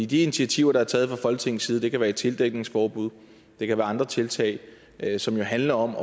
de initiativer der er taget fra folketingets side det kan være et tildækningsforbud det kan være andre tiltag som jo handler om